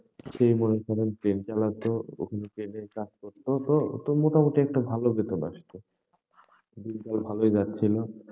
সেই মনে করেন train চালাতো, ওখানে train এর কাজ করতো তো ও তো মোটামুটি একটা ভালো বেতন আসছে দিনকাল ভালোই যাচ্ছিল।